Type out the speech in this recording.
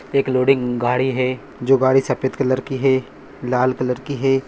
एक लोडिंग गाडी है जो गाडी सफेद कलर की है लाल कलर की है।